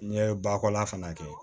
N'i ye bakɔla fana kɛ